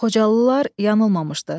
Xocalılar yanılmamışdı.